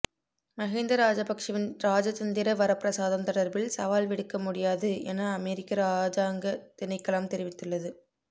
மஹிந்த ராஜபக்சவின் ராஜதந்திர வரப்பிரசாதம் தொடர்பில் சவால் விடுக்க முடியாது என அமெரிக்க இராஜாங்கத் திணைக்களம் தெரிவித்துள்ளது